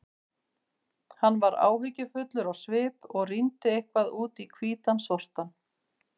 Hann var áhyggjufullur á svip og rýndi eitthvað út í hvítan sortann.